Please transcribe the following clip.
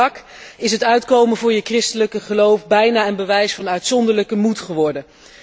Maar in Irak is het uitkomen voor je christelijke geloof bijna een bewijs van uitzonderlijke moed geworden.